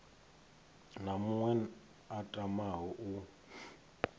na muṅwe a tamaho u